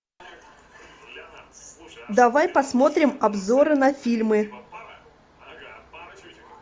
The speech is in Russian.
давай посмотрим обзоры на фильмы